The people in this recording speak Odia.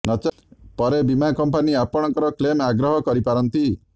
ନଚେତ ପରେ ବୀମା କମ୍ପାନୀ ଆପଣଙ୍କ କ୍ଲେମ୍ ଅଗ୍ରାହ୍ୟ କରିପାରନ୍ତି